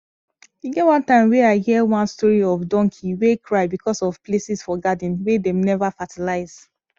e get one time wey i hear one story of donkey wey cry because of places for garden wey dem never fertilize